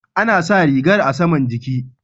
Ana sa rigar a saman jiki.